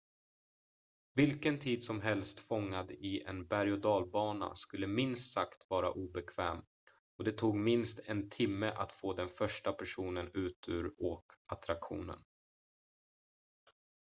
vilken tid som helst fångad i en berg-och dalbana skulle minst sagt vara obekväm och det tog minst en timme att få den första personen ut ur åkattraktionen